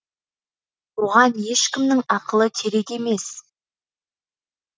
оған ешкімнің ақылы керек емес